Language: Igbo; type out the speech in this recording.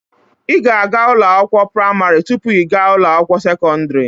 Ị ga-aga ụlọ akwụkwọ praimarị tụpụ ị gaa ụlọ akwụkwọ sekọndrị